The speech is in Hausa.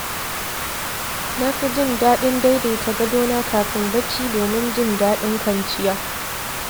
Na fi jin daɗin daidaita gadona kafin barci domin jin daɗin kwanciya.